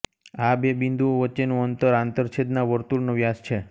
આ બે બિન્દુઓ વચ્ચેનું અંતર આંતરછેદના વર્તુળનો વ્યાસ છે